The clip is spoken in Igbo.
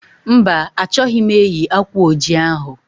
Mba, achọghị m eyi akwa oji ahụ